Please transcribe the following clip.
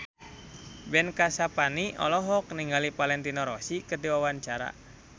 Ben Kasyafani olohok ningali Valentino Rossi keur diwawancara